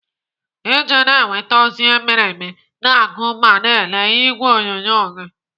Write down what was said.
Iji na-enweta ozi mere eme, na-agụ ma na ele ìgwè onyonyo gị.